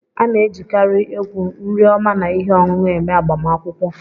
A na-ejikarị egwu, nri oma na ihe ọṅụṅụ eme agbamakwụkwọ.